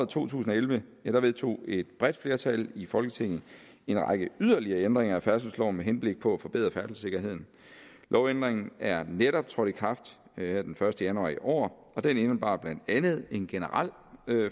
to tusind og elleve elleve vedtog et bredt flertal i folketinget en række yderligere ændringer af færdselsloven med henblik på at forbedre færdselssikkerheden lovændringen er netop trådt i kraft her den første januar i år og den indebar blandt andet en generel